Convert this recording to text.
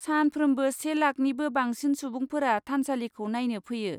सानफ्रोमबो से लाखनिबो बांसिन सुबुंफोरा थानसालिखौ नायनो फैयो।